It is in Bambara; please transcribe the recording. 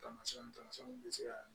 Tamasiyɛnw tamasiɲɛnw bɛ se ka